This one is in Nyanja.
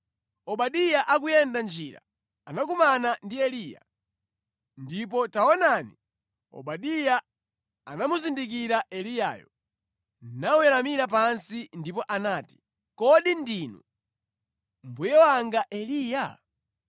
Obadiya akuyenda mʼnjira anakumana ndi Eliya. Ndipo taonani, Obadiya anamuzindikira Eliyayo, naweramira pansi ndipo anati, “Kodi ndinu, mbuye wanga Eliya?”